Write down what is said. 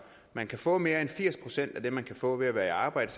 man kan få mere end firs procent af det man kan få ved at være i arbejde